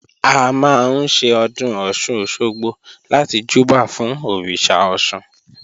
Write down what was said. A máa ń ṣe Ọdún Ọ̀sun-Òsogbo láti júbà fún Òrìṣà Ọ̀ṣun